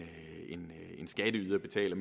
at en skatteyder betaler